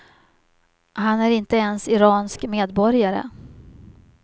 Han är inte ens iransk medborgare.